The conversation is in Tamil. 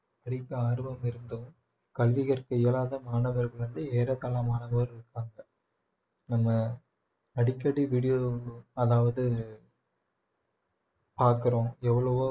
படிக்க ஆர்வம் இருந்தும் கல்வி கற்க இயலாத மாணவர்கள் வந்து ஏறத்தாழ மாணவர்கள் இருக்காங்க நம்ம அடிக்கடி video அதாவது பாக்குறோம் எவ்வளவோ